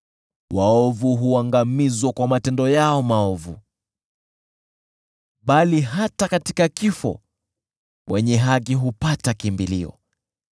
Waovu huangamizwa kwa matendo yao maovu, bali hata katika kifo wenye haki hupata kimbilio.